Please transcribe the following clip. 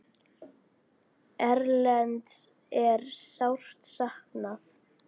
Erlends er sárt saknað.